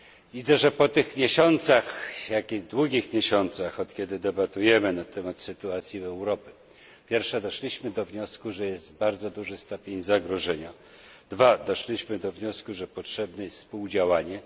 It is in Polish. Widzę, że po tych miesiącach, takich długich miesiącach, od kiedy debatujemy na temat sytuacji w Europie, pierwsze doszliśmy do wniosku, że jest bardzo duży stopień zagrożenia, dwa doszliśmy do wniosku, że potrzebne jest współdziałanie.